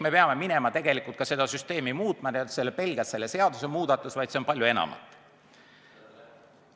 Me peame tegelikult süsteemi muutma, see ei ole pelgalt seaduse muudatus, see on palju enamat.